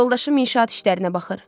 Yoldaşım inşaat işlərinə baxır.